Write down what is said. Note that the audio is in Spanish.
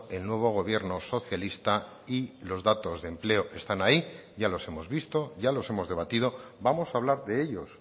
el nuevo gobierno socialista y los datos de empleo están ahí ya los hemos visto ya los hemos debatido vamos a hablar de ellos